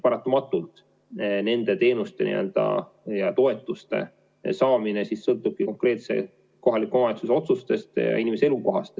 Paratamatult nende teenuste ja toetuste saamine sõltubki konkreetse kohaliku omavalitsuse otsustest ja inimese elukohast.